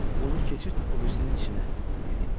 Bunu keçirt o birisinin içinə, dedi.